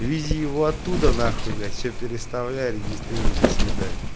вези его оттуда на хуй блять все переставляй регистрируй до свидания